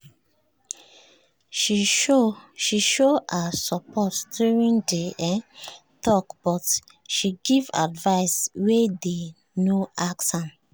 she show her support during the um talk but she give advice wey dey no ask am